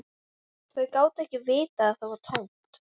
Þau gátu ekki vitað að það var tómt.